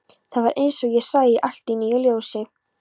Það var eins og ég sæi allt í nýju ljósi.